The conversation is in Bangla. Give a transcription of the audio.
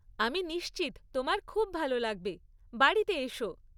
আমি নিশ্চিত তোমার খুব ভালো লাগবে, বাড়িতে এসো।